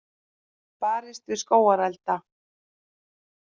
Barist við skógarelda